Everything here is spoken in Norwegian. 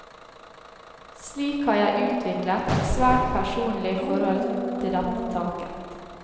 Slik har jeg utviklet et svært personlig forhold til dette taket.